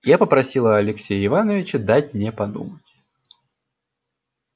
я попросила алексея ивановича дать мне подумать